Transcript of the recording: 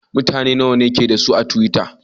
Mabiya nawa ke da su a twitter?